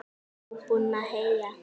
Eruð þið búin að heyja?